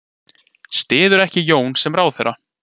Styður ekki Jón sem ráðherra